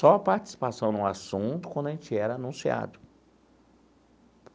Só participação no assunto quando a gente era anunciado.